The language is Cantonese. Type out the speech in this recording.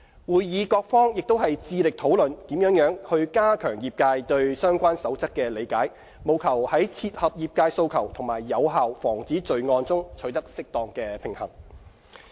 會議各方亦致力討論如何加強業界對相關守則的理解，務求在切合業界訴求和有效防止罪案中取得適當平衡。